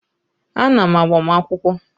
A na m agbamakwụkwọ